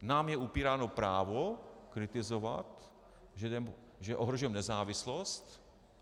Nám je upíráno právo kritizovat, že ohrožujeme nezávislost.